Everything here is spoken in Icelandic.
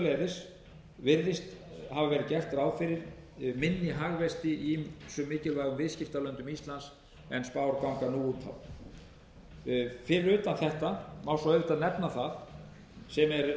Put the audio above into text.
hafa verið gert ráð fyrir minni hagvexti í ýmsum mikilvægum viðskiptalöndum íslands en spár ganga nú út frá fyrir utan þetta má svo auðvitað nefna það sem eru engin